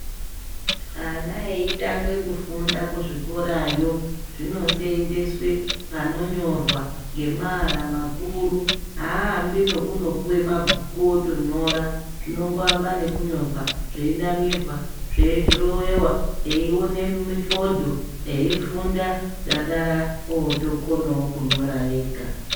Ana eitanga kufunda kuzvikora yo zvinosenseswe panonyorwa ngeamara makuru aambi nekunopuwe mabhuku otonyora zvinomboambe nekunyorwa zveinamirwa zveidhirowewa eione mifodho eifunda dakara otokonawo kunyora ega.